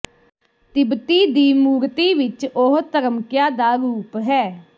ਤਿੱਬਤੀ ਦੀ ਮੂਰਤੀ ਵਿਚ ਉਹ ਧਰਮਕਿਆ ਦਾ ਰੂਪ ਹੈ